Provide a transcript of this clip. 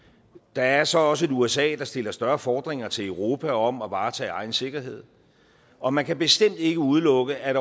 der er så også et usa der stiller større fordringer til europa om at varetage egen sikkerhed og man kan bestemt ikke udelukke at